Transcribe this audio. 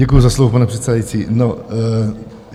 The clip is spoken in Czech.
Děkuji za slovo, pane předsedající.